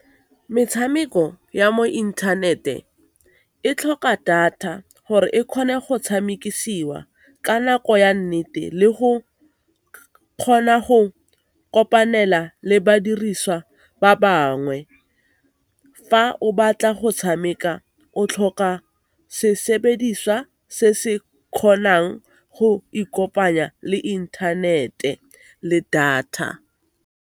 Metshameko ya mo inthanete e tlhoka data gore e kgone go tshamekisiwa ka nako ya nnete le go kgona go kopanela le badiriswa ba bangwe. Fa o batla go tshameka o tlhoka se sebediswa se se kgonang go ikopanya le inthanete le data.